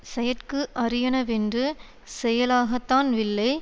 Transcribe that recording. செயற்கு அரியனவென்று செய்யலாகதன் வில்லை